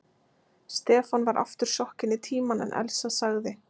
Stefán var aftur sokkinn í Tímann en Elsa sagði